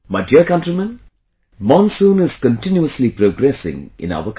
My dear countrymen, monsoon is continuously progressing in our country